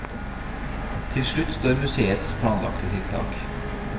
Til slutt står museets planlagte tiltak.